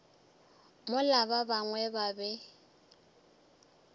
mola ba bangwe ba be